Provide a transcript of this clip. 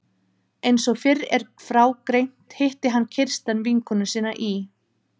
Einsog fyrr er frá greint hitti hann Kirsten vinkonu sína í